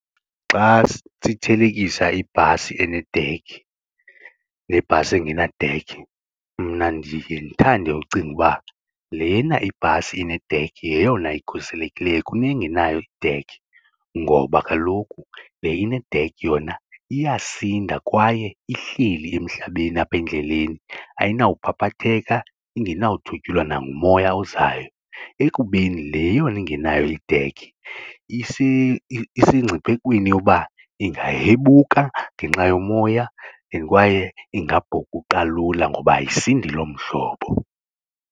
Xa sithelekisa ibhasi enedekhi nebhasi engenadekhi mna ndiye ndithande ucinga uba lena ibhasi inedekhi yeyona ikhuselekileyo kunengenayo idekhi ngoba kaloku le inedekhi yona iyasinda kwaye ihleli emhlabeni apha endleleni ayinawuphaphatheka, ingenawuthwetyulwa nangumoya ozayo. Ekubeni le yona ingenayo idekhi isengciphekweni yoba ingahebuka ngenxa yomoya and kwaye ingabhukuqa lula ngoba ayisindi loo mhlobo.